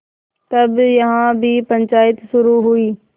तब यहाँ भी पंचायत शुरू हुई